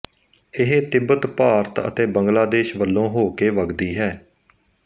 ਇਹ ਤਿੱਬਤ ਭਾਰਤ ਅਤੇ ਬੰਗਲਾਦੇਸ਼ ਵਲੋਂ ਹੋਕੇ ਵਗਦੀ ਹੈ